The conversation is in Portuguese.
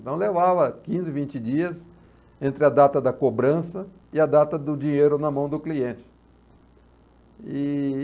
Então levava quinze, vinte dias entre a data da cobrança e a data do dinheiro na mão do cliente. E...